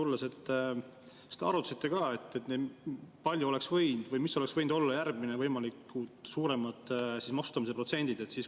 Kas te arutasite ka, mis oleks võinud olla järgmised võimalikud suuremad maksustamise protsendid?